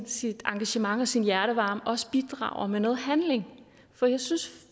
sit engagement og sin hjertevarme også bidrager med noget handling for jeg synes